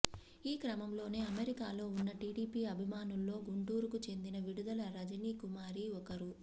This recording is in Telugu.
ఈ క్రమంలోనే అమెరికాలో ఉన్న టీడీపీ అభిమానుల్లో గుంటూరుకు చెందిన విడదల రజనీ కుమారి ఒకరు